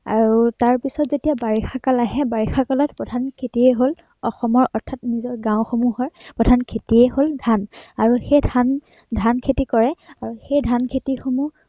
আৰু তাৰ পিছত যেতিয়া বাৰিষা কাল আহে বাৰিষা কালত প্ৰধান খেতিয়েই হল অসমৰ অৰ্থাত নিজৰ গাঁওসমূহৰ অৰ্থাত খেতিয়েই হল ধান, আৰু সেই ধান খেতি কৰে আৰু সেই ধান খেতিসমূহ